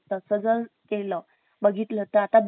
बघितलं तर आता बेडरूम मध्ये वगैरे